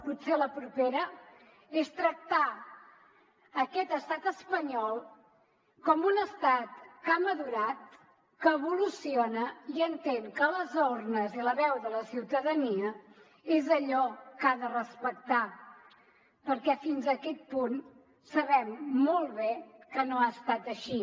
potser la propera és tractar aquest estat espanyol com un estat que ha madurat que evoluciona i entén que les urnes i la veu de la ciutadania és allò que ha de respectar perquè fins a aquest punt sabem molt bé que no ha estat així